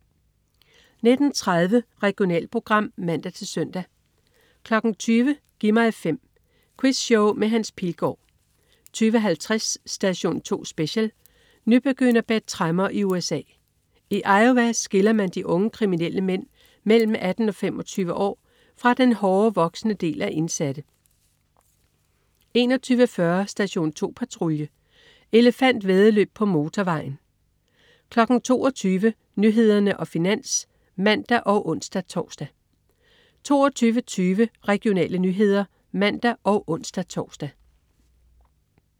19.30 Regionalprogram (man-søn) 20.00 Gi' mig 5. Quizshow med Hans Pilgaard 20.50 Station 2 Special: Nybegynder bag tremmer i USA. I Iowa skiller man de unge kriminelle mænd mellem 18-25 år fra den hårdere, voksne del af indsatte 21.40 Station 2 Patrulje. Elefantvæddeløb på motorvejen 22.00 Nyhederne og Finans (man og ons-tors) 22.20 Regionale nyheder (man og ons-tors)